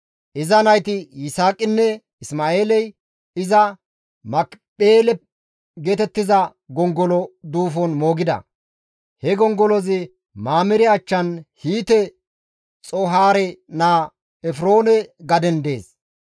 Iza nayti Yisaaqinne Isma7eeley iza Makipheele geetettiza gongolo duufon moogida; he gongolozi Mamire achchan Hiite Xoohaare naa Efroone gaden dees.